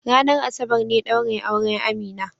Ranar Asabar ne daurin auren Amina.